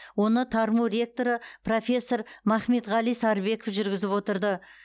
оны тарму ректоры профессор махметғали сарыбеков жүргізіп отырды